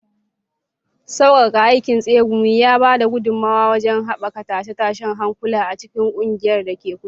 Sauƙaƙan aikin tsegumi ya ba da gudummawa wajen haɓaka tashe-tashen hankula a cikin ƙungiyar da ke kusa.